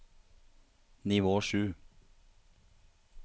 nivå sju